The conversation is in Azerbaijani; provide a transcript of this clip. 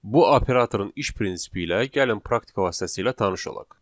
Bu operatorun iş prinsipi ilə gəlin praktika vasitəsilə tanış olaq.